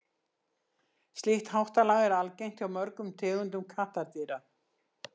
slíkt háttalag er algengt hjá mörgum tegundum kattardýra